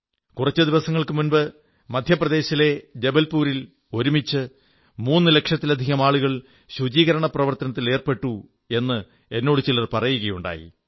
കുറച്ചു ദിവസങ്ങൾക്കു മുമ്പ് മധ്യപ്രദേശിലെ ജബൽപൂരിൽ ഒരുമിച്ച് മൂന്നുലക്ഷത്തിലധികം ആളുകൾ ശുചീകരണ പ്രവർത്തനത്തിൽ ഏർപ്പെട്ടു എന്ന് എന്നോടു ചിലർ പറയുകയുണ്ടായി